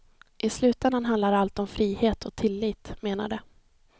I slutändan handlar allt om frihet och tillit menar de.